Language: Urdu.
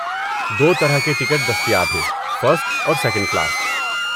دو طرح کے ٹکٹ دستیاب ہیں، فرسٹ اور سیکنڈ کلاس۔